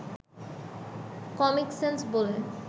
comic sense বলে